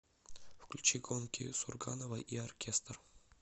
включи гонки сурганова и оркестр